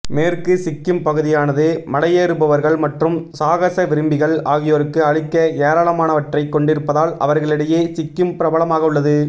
மேற்கு சிக்கிம் பகுதியானது மலையேறுபவர்கள் மற்றும் சாகச விரும்பிகள் ஆகியோருக்கு அளிக்க ஏராளமானவற்றைக் கொண்டிருப்பதால் அவர்களிடையே சிக்கிம் பிரபலமாக உள்ளது